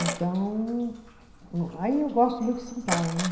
Então o, aí eu gosto muito de São Paulo, né.